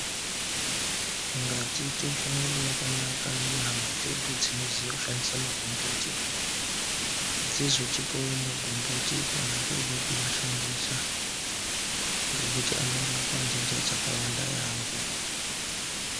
Ngatiite ushamwari hwakanaka nehama dzedu dzinoziya kushandisa magomboti, dzizotipawo magomboti kana tooda kumashandisa, ngekuti anorapa ntenda dzakawanda yaampho.